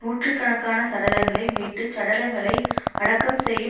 நூற்று கணக்கான சடலங்கை மீட்டுச் சடலங்களை அடக்கம் செய்யும்